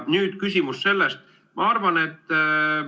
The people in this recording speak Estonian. Nüüd, küsimus sellest.